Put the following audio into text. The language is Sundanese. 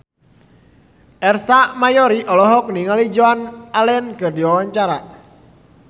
Ersa Mayori olohok ningali Joan Allen keur diwawancara